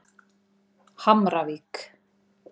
Hamravík